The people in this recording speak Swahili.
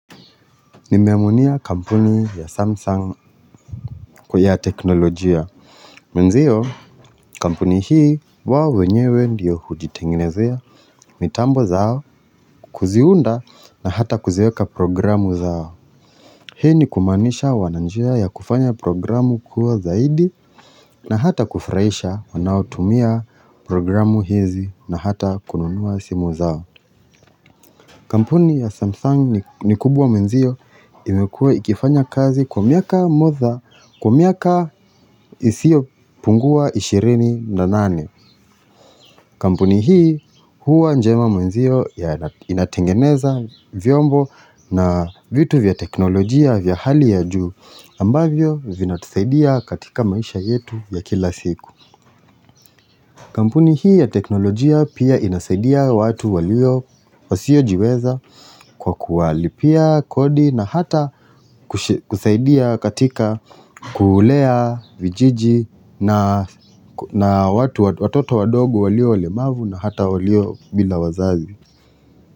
Nimeaminia kampuni ya Samsung kwa ya teknolojia. Mwenzio kampuni hii wa wenyewe ndiyo hujitenginezea. Mitambo zao kuziunda na hata kuziweka programu zao. Hii ni kumanisha wananjia ya kufanya programu kuwa zaidi na hata kufurahisha wanautumia programu hizi na hata kununua simu zao. Kampuni ya Samsung ni kubwa mwenzio imekua ikifanya kazi kwa miaka moza kwa miaka isiopungua 28. Kampuni hii huwa njema mwenzio ya inatengeneza vyombo na vitu vya teknolojia vya hali ya juu ambavyo vinatusaidia katika maisha yetu ya kila siku. Kampuni hii ya teknolojia pia inasaidia watu walio wasiojiweza kwa kuwalipia kodi na hata kusaidia katika kulea vijiji na watoto wadogo walio walemavu na hata walio bila wazazi.